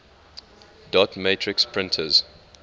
dot matrix printers